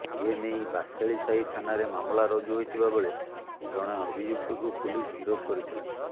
ଏନେଇ ବାସେଳିସାହି ଥାନାରେ ମାମଲା ରୁଜୁ ହୋଇଥିବା ବେଳେ ଜଣେ ଅଭିଯୁକ୍ତକୁ ପୁଲିସ ଗିରଫ କରିଥିଲା